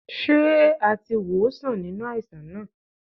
Ṣé a ti wòó sàn nínú àìsàn náà?